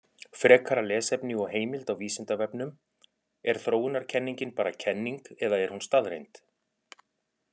Frekara lesefni og heimild á Vísindavefnum: Er þróunarkenningin bara kenning eða er hún staðreynd?